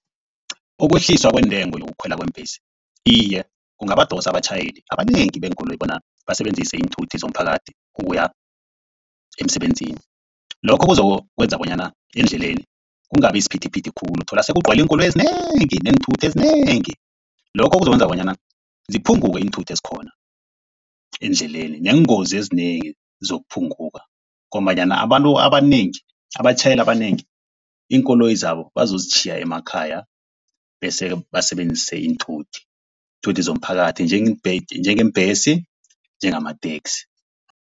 Ukwehliswa kwentengo yokukhwela kweembhesi, iye kungabadosa abatjhayeli abanengi beenkoloyi bona basebenzise iinthuthi zomphakathi ukuya emsebenzini. Lokho kuzokwenza bonyana eendleleni kungabi siphithiphithi khulu uthole sekugcwele iinkoloyi ezinengi neenthuthi ezinengi. Lokho kuzokwenza bonyana ziphunguke iinthuthi ezikhona eendleleni neengozi ezinengi zizokuphunguka. Ngombanyana abantu abanengi, abatjhayeli abanengi, iinkoloyi zabo bazozitjhiya emakhaya bese basebenzise iinthuthi. Iinthuthi zomphakathi njengeembhesi njangamateksi.